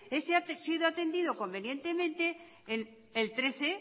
es si ha sido atendido convenientemente en el dos mil trece